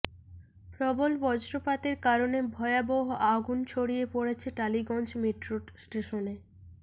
প্রবল বজ্রপাতের কারণে ভয়াবহ আগুন ছড়িয়ে পড়েছে টালিগঞ্জ মেট্রো স্টেশনে